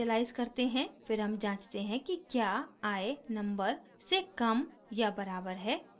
फिर हम जाँचते हैं कि क्या i number से कम या बराबर है